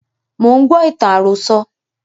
Mo ń gbọ́ ìtàn àròsọ̀